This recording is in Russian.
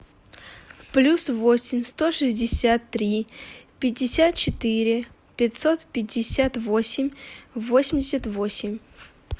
плюс восемь сто шестьдесят три пятьдесят четыре пятьсот пятьдесят восемь восемьдесят восемь